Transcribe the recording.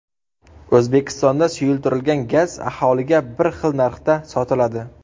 O‘zbekistonda suyultirilgan gaz aholiga bir xil narxda sotiladi.